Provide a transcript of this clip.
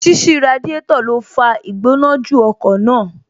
Ṣíṣí Radiátò ló fa Ìgbónájù ọkọ̀ máa